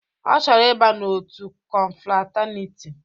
Ọ chọrọ ịba n'otu kọnfrataniti